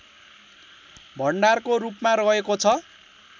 भण्डारको रूपमा रहेको छ